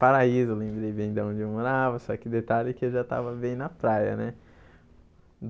Paraíso, lembrei bem de onde eu morava, só que detalhe que eu já estava bem na praia, né?